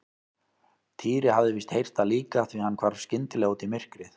Týri hafði víst heyrt það líka því hann hvarf skyndilega út í myrkrið.